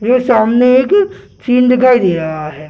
जो सामने एक सीन दिखाई दे रहा है।